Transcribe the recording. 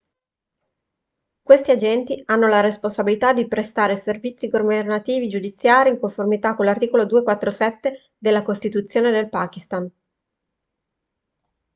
questi agenti hanno la responsabilità di prestare servizi governativi e giudiziari in conformità con l'articolo 247 della costituzione del pakistan